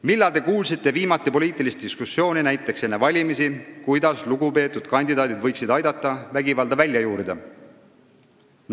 Millal te kuulsite viimati poliitilist diskussiooni, näiteks enne valimisi, kuidas lugupeetud kandidaadid võiksid aidata vägivalda välja juurida?